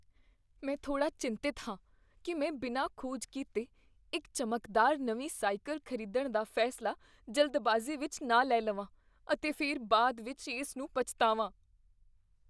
ਮੈਂ ਥੋੜਾ ਚਿੰਤਤ ਹਾਂ ਕੀ ਮੈਂ ਬਿਨਾਂ ਖੋਜ ਕੀਤੇ ਇੱਕ ਚਮਕਦਾਰ ਨਵੀਂ ਸਾਈਕਲ ਖ਼ਰੀਦਣ ਦਾ ਫੈਸਲਾ ਜਲਦਬਾਜ਼ੀ ਵਿੱਚ ਨਾ ਲੈ ਲਵਾਂ ਅਤੇ ਫਿਰ ਬਾਅਦ ਵਿੱਚ ਇਸ ਨੂੰ ਪਛਤਾਵਾ।